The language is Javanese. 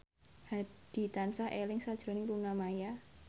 Hadi tansah eling sakjroning Luna Maya